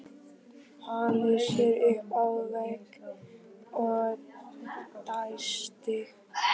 Hallaði sér upp að vegg og dæsti.